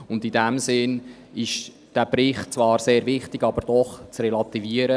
In diesem Sinne ist dieser Bericht zwar sehr wichtig, aber doch zu relativieren.